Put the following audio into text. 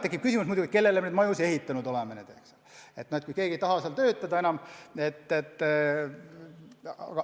Tekib muidugi küsimus, kellele me neid maju siis ehitanud oleme, kui keegi ei taha seal enam töötada.